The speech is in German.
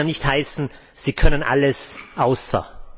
Es soll ja nicht heißen Sie können alles außer....